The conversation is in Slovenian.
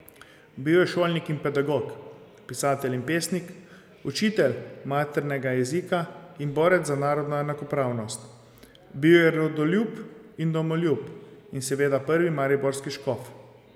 Bil je šolnik in pedagog, pisatelj in pesnik, učitelj maternega jezika in borec za narodno enakopravnost, bil je rodoljub in domoljub in seveda prvi mariborski škof.